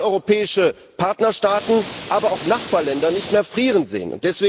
Wir wollen europäische Partnerstaaten, aber auch Nachbarländer nicht mehr frieren sehen.